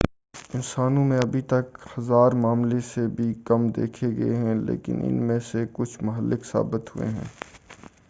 انسانوں میں ابھی تک ہزار معاملے سے بھی کم دیکھے گئے ہیں لیکن ان میں سے کچھ مہلک ثابت ہوئے ہیں